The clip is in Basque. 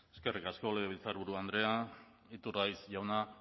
eskerrik asko legebiltzarburu andrea iturgaiz jauna